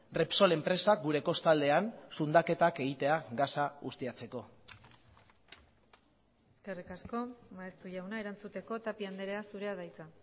repsol enpresak gure kostaldean zundaketak egitea gasa ustiatzeko eskerrik asko maeztu jauna erantzuteko tapia andrea zurea da hitza